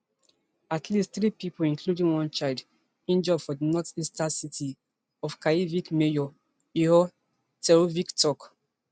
at least three pipo including one child injure for di northeastern city of kharkiv mayor ihor terekhov tok